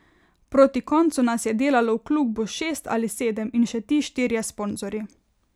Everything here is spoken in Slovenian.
Proti koncu nas je delalo v klubu šest ali sedem in še ti štirje sponzorji.